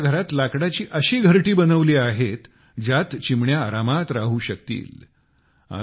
त्यांनी आपल्या घरात लाकडाची अशी घरटी बनवली आहेत ज्यात चिमण्या आरामात राहू शकतील